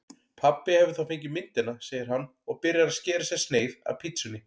Pabbi hefur þá fengið myndina, segir hann og byrjar að skera sér sneið af pitsunni.